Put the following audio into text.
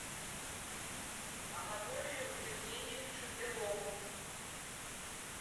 анатолию евгеньевичу белову